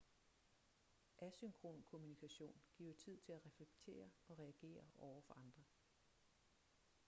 asynkron kommunikation giver tid til at reflektere og reagere over for andre